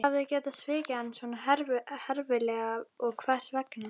Hver hafði getað svikið hann svona herfilega og hvers vegna?